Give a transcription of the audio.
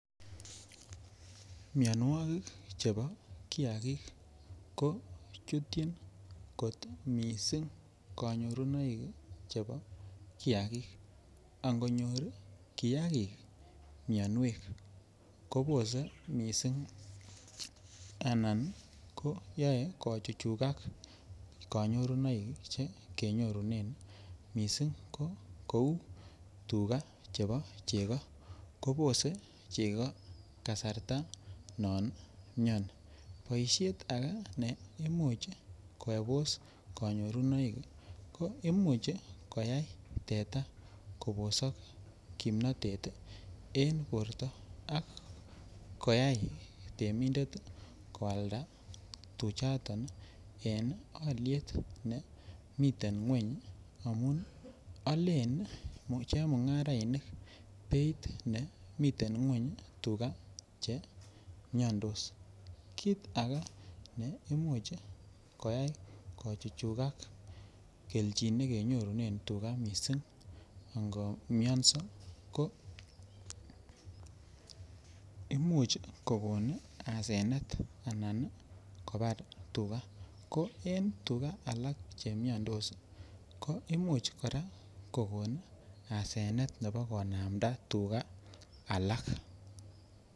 Mionwogik chebo kiyagik ko chutyin kot miisik konyorunoik chebo kiyagik angonyor kiyagik minwek kobose miisik anan koyae kochujujak konyorunoik che kenyorunen miisik ko kou tugaa chebo chekoo kobose chekoo kasarta non myonii boishiet age ne imuch kobose konyorunoik ko imuch koyai teta Kobos kimnatet en borto ak koyai temindet koalda tuchatan en oliet ne miten kweny amun alen chemungarainik beit nemiten kweny tugaa chemiondos kiit age ne imuch koyai kochujujakak keljin negenyorunen tugaa miisik akamun komyoso ko imin kokon asenet anan kobar tugaa ko en tugaa alak chemiondos ko imuch koraa kokon asenet imuche konamda tugaa alak.